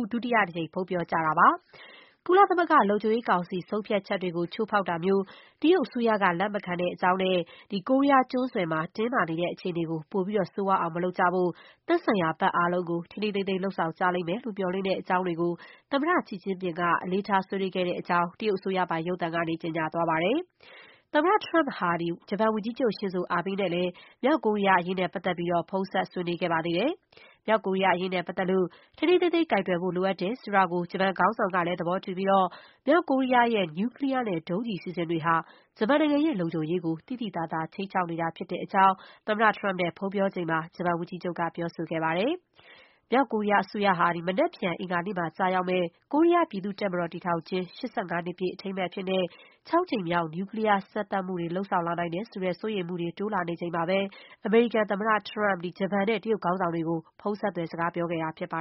ဦး ဒုတိယအကြိမ် ဖုန်းပြောကြတာပါ။ ကုလသမဂ္ဂ လုံခြုံရေးကောင်စီ ဆုံးဖြတ်ချက်တွေကို ချိုးဖောက်တာမျိုး တရုတ်အစိုးရက လက်မခံတဲ့အကြောင်းနဲ့ ကိုရီးယားကျွန်းဆွယ်မှာ တင်းမာနေတဲ့ အခြေအနေကို ပိုပြီး ဆိုးရွားအောင် မလုပ်ကြဖို့နဲ့ သက်ဆိုင်ရာ ဘက်အားလုံးက ထိန်းထိန်းသိမ်းသိမ်း လုပ်ဆောင်ကြလိမ့်မယ်လို့ မျှော်လင့်တဲ့အကြောင်း တွေကို သမ္မတ ရှီကျင်းဖျင်က အလေးထား ဆွေးနွေးခဲ့တဲ့အကြောင်း တရုတ်အစိုးရပိုင် ရုပ်သံမှာ ကြေညာခဲ့တာပါ။ သမ္မတ Trump ဟာ ဂျပန်ဝန်ကြီးချုပ် ရှင်ဇိုအာဘေးနဲ့လည်း မြောက်ကိုရီးယားအရေး ဖုန်းဆက် ဆွေးနွေးခဲ့ပါသေးတယ်။ မြောက်ကိုရီးယား အရေးနဲ့ပတ်သက်လို့ ထိန်းထိန်းသိမ်းသိမ်း ကိုင်တွယ်ဖို့ လိုအပ်တယ်ဆိုတာကို ဂျပန်ခေါင်းဆောင်က သဘောတူပြီး မြောက်ကိုရီးယားရဲ့ နျူကလီးယားနဲ့ ဒုံးကျည် အစီအစဉ်တွေဟာ ဂျပန်နိုင်ငံရဲ့ လုံခြုံရေးကို သိသိသာသာ ခြိမ်းခြောက်နေတာ ဖြစ်တဲ့အကြောင်း သမ္မတ Trump နဲ့ ဖုန်းပြောချိန်မှာ ဂျပန် ဝန်ကြီးချုပ်က ပြောဆိုခဲ့ပါတယ်။ မြောက်ကိုရီးယားအစိုးရဟာ မနက်ဖြန် အင်္ဂါနေ့မှာ ကျရောက်မယ့် ကိုရီးယားပြည်သူ့တပ်မတော် တည်ထောင်ခြင်း ၈၅ နှစ်ပြည့် အထိမ်းအမှတ်အဖြစ် ခြောက်ကြိမ်မြောက် နျူကလီးယားစမ်းသပ်မှု လုပ်လာနိုင်တယ်ဆိုတဲ့ စိုးရိမ်မှုတွေ တိုးလာနေချိန်မှာပဲ အမေရိကန်သမ္မတ Trump ဂျပန်နဲ့ တရုတ်ခေါင်းဆောင်တွေကို ဖုန်းဆက်သွယ် စကားပြောခဲ့တာဖြစ်ပါ